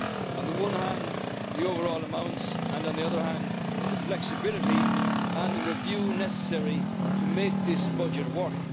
on the one hand, the overall amounts, and on the other hand, the flexibility and the review necessary to make this budget work.